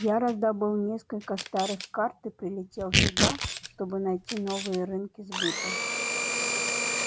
я раздобыл несколько старых карт и прилетел сюда чтобы найти новые рынки сбыта